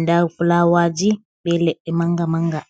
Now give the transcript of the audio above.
Nɗa fulawaji, ɓe leɗɗe manga manga.